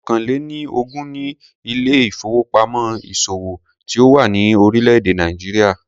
Ọ̀kàn-lé-ni-ogún ni ilé ìfowópamọ́ ìṣòwò tí ó wà ní orílé èdè Nàìjíríà.